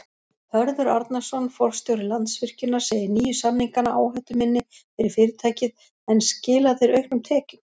Hörður Arnarson, forstjóri Landsvirkjunar segir nýju samningana áhættuminni fyrir fyrirtækið en skila þeir auknum tekjum?